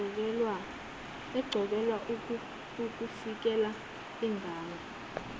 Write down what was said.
eqokelwe ukuvikela ingane